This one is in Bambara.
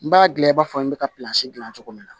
N b'a dilan i b'a fɔ n bɛ ka gilan cogo min na